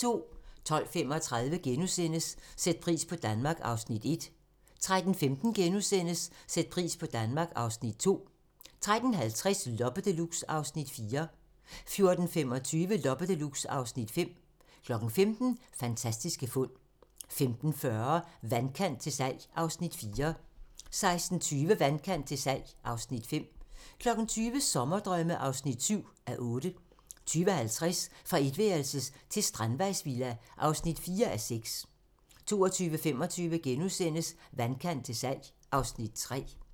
12:35: Sæt pris på Danmark (Afs. 1)* 13:15: Sæt pris på Danmark (Afs. 2)* 13:50: Loppe Deluxe (Afs. 4) 14:25: Loppe Deluxe (Afs. 5) 15:00: Fantastiske fund 15:40: Vandkant til salg (Afs. 4) 16:20: Vandkant til salg (Afs. 5) 20:00: Sommerdrømme (7:8) 20:50: Fra etværelses til strandvejsvilla (4:6) 22:25: Vandkant til salg (Afs. 3)*